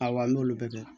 Ayiwa n y'olu bɛɛ kɛ